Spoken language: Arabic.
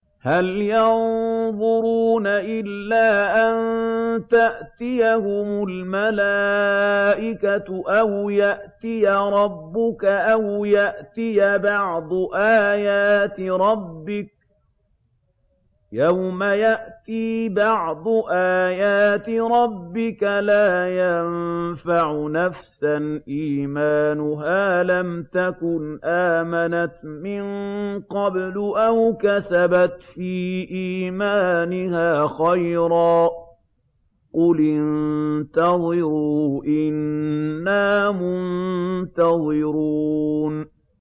هَلْ يَنظُرُونَ إِلَّا أَن تَأْتِيَهُمُ الْمَلَائِكَةُ أَوْ يَأْتِيَ رَبُّكَ أَوْ يَأْتِيَ بَعْضُ آيَاتِ رَبِّكَ ۗ يَوْمَ يَأْتِي بَعْضُ آيَاتِ رَبِّكَ لَا يَنفَعُ نَفْسًا إِيمَانُهَا لَمْ تَكُنْ آمَنَتْ مِن قَبْلُ أَوْ كَسَبَتْ فِي إِيمَانِهَا خَيْرًا ۗ قُلِ انتَظِرُوا إِنَّا مُنتَظِرُونَ